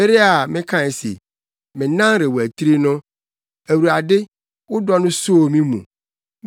Bere a mekae se, “Me nan rewatiri” no, Awurade, wo dɔ no soo me mu.